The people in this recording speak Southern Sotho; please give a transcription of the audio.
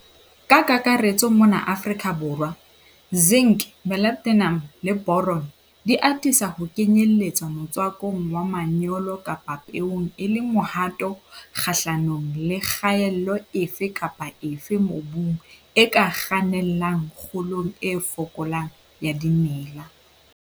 Ka kakaretso mona Afrika Borwa, zinc, molybdenum le boron di atisa ho kenyeletswa motswakong wa manyolo kapa peong e le mohato kgahlanong le kgaello efe kapa efe mobung e ka kgannelang kgolong e fokolang ya dimela.